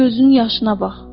Gözünün yaşına bax!